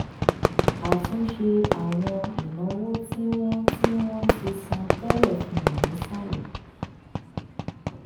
àtúnṣe àwọn ìnáwó tí wọ́n ti wọ́n ti san tẹ́lẹ̀ fi hàn nísàlẹ̀.